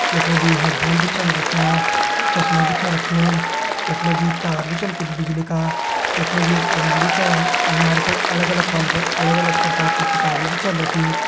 यख मा जी हैडफ़ोन भी छन रख्यां चश्मा भी छ रख्युं यख मा जी तार भी छन कुछ बिजली का यख मा जी एक अलमारी छा अलमारी पर अलग अलग खानों पर अलग अलग प्रकार कि किताब भी छन रखीं।